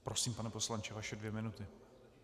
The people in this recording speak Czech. Prosím, pane poslanče, vaše dvě minuty.